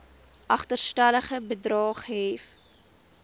agterstallige bedrae gehef